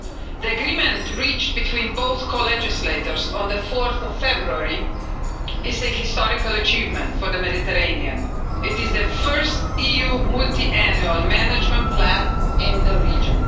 The agreement reached between both co-legislators on 4 February is a historic achievement for the Mediterranean. It is the first EU multiannual management plan in the region.